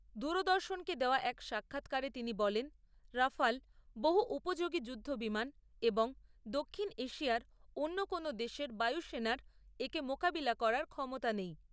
দূরদর্শনকে দেওয়া এক সাক্ষাৎকারে তিনি বলেন, রাফাল বহু উপযোগী যুদ্ধ বিমান এবং দক্ষিণ এশিয়ার অন্য কোনও দেশের বায়ু সেনার একে মোকাবিলা করার ক্ষমতা নেই।